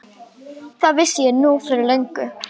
Það vissi ég nú fyrir löngu.